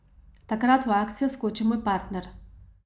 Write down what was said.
Takrat v akcijo skoči moj partner.